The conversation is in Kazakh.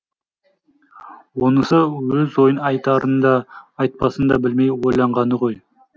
онысы өз ойын айтарын да айтпасын да білмей ойланғаны ғой